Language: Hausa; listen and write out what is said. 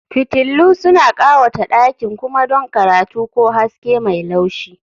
Fitillu suna ƙawata ɗakin kuma don karatu ko haske mai laushi